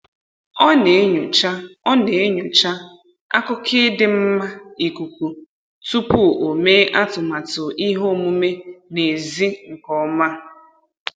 Ọ na-enyocha Ọ na-enyocha akụkọ ịdị mma ikuku tupu o mee atụmatụ ihe omume n'ezi nke ọma